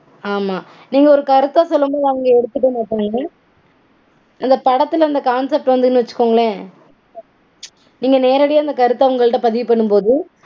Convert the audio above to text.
ஆமா நீங்க ஒரு கருத்த சொல்லும்போது அத எடுத்துக்க மாட்டாங்க. அந்த படத்துல அந்த concept வந்ததுனு வச்சுக்கோங்களேன், நீங்க நேரடியா கருத்த அவங்கள்ட்ட பதிவு பண்ணும்போது